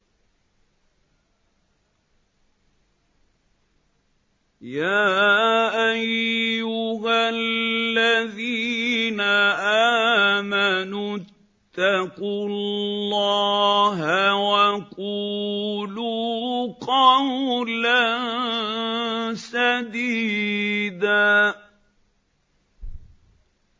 يَا أَيُّهَا الَّذِينَ آمَنُوا اتَّقُوا اللَّهَ وَقُولُوا قَوْلًا سَدِيدًا